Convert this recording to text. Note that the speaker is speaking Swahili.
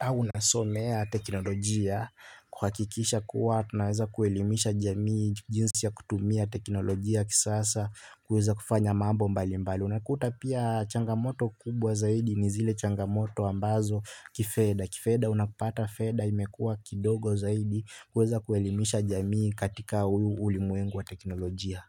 au nasomea teknolojia kuhakikisha kuwa tunaweza kuelimisha jamii jinsi ya kutumia teknolojia ya kisasa, kuweza kufanya mambo mbali mbali. Unakuta pia changamoto kubwa zaidi ni zile changamoto ambazo kifedha. Kifedha, unapata fedha imekuwa kidogo zaidi kuweza kuelimisha jamii katika ulimwengu wa teknolojia.